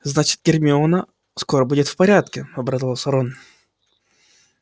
значит гермиона скоро будет в порядке обрадовался рон